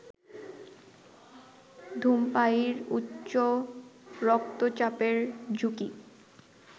ধূমপায়ীর উচ্চ রক্তচাপের ঝুঁকি